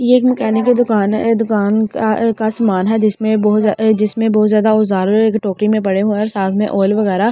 यह एक मैकेनिक की दुकान है दुकान आ का समान है जिसमें बहुत ज्यादा जिसमें बहुत ज्यादा औजार एक टोकरी में पड़े हुए साथ में आयल वगैरा ।